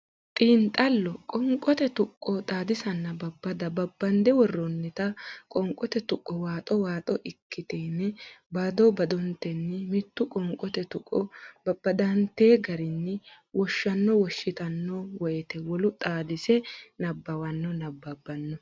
Xiinxallo Qoonqote Tuqqo Xaadisanna Babbada babbande worroonnita qoonqote tuqqo waaxo waaxo ikkitine bado badotenni mittu qoonqote tuqqo babbadante garinni woshshanno woshshitanno woyte wolu xaadise sse nabbawanno nabbabbanno.